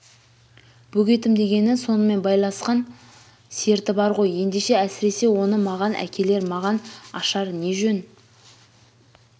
бөгетім дегені сонымен байласқан серті бар ғой ендеше әсіресе оны маған әкелер маған ашар не жөн